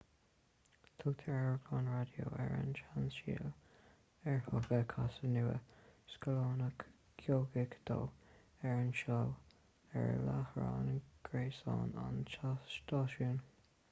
tugtar amharclann raidió ar an seanstíl ar tugadh casadh nua scannalach geocaigh dó ar an seó ar láithreán gréasáin an stáisiúin